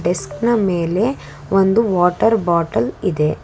ಡೆಸ್ನ ಮೇಲೆ ಒಂದು water bottle ಇದೆ.